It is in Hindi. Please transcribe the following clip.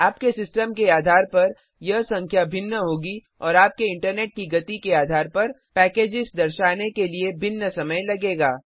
आपके सिस्टम के आधार पर यह संख्या भिन्न होगी और आपके इंटरनेट की गति के आधार पर पैकेजेस दर्शाने के लिए भिन्न समय लगेगा